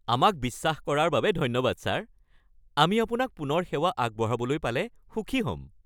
আমাক বিশ্বাস কৰাৰ বাবে ধন্যবাদ ছাৰ। আমি আপোনাক পুনৰ সেৱা আগবঢ়াবলৈ পালে সুখী হ'ম।